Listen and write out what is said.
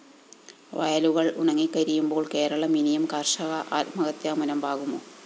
വയലുകള്‍ ഉണങ്ങിക്കരിയുമ്പോള്‍ കേരളം ഇനിയും കര്‍ഷക ആത്മഹത്യാ മുനമ്പാകുമോ?